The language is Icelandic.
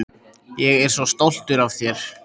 Ég er svo stoltur af þér.